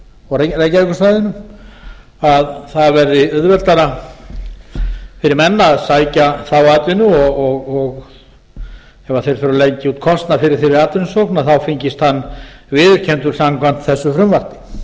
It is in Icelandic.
og reykjavíkursvæðinu að það verði auðveldara fyrir menn að sækja þá atvinnu og ef þeir þurfi að leggja út kostnað fyrir þeirri atvinnusókn þá fengist hann viðurkenndur samkvæmt þessu frumvarpi við